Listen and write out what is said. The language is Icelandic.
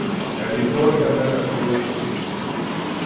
En ég þori ekki að taka skrefið til fulls.